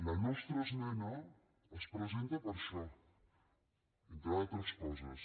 la nostra esmena es presenta per això entre d’altres coses